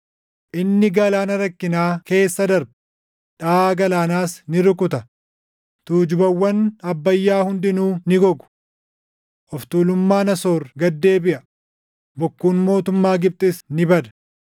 Inni galaana rakkinaa keessa darba; dhaʼaa galaanaas ni rukuta; tuujubawwan Abbayyaa hundinuu ni gogu. Of tuulummaan Asoor gad deebiʼa; bokkuun mootummaa Gibxis ni bada.